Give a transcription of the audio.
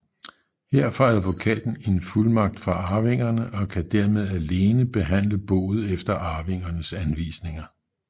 Her får advokaten en fuldmagt fra arvingerne og kan dermed alene behandle boet efter arvingernes anvisninger